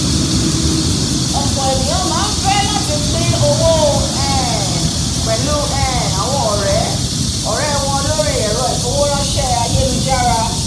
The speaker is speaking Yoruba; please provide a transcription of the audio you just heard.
ọ̀pọ̀ ènìyàn máá fẹ́ láti pín owó um pẹ̀lú um àwọn ọ̀rẹ́ wọn lórí ẹ̀rọ ìfowóránsé ayélujára